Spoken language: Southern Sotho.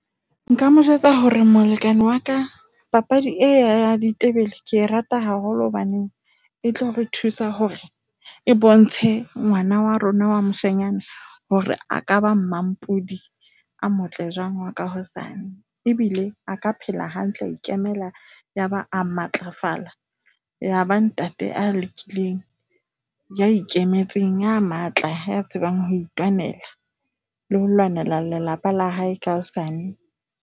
Nka mo jwetsa hore molekane wa ka papadi e ya ditebele ke e rata haholo hobane e tlo re thusa hore e bontshe ngwana wa rona wa moshanyana hore a ka bo mampodi a motle jwang wa ka hosane ebile a ka phela hantle. A ikemela yaba a matlafala yaba ntate a lokileng, ya ikemetseng ya matla a tsebang ho itwanela le ho lwanela lelapa la hae ka hosane.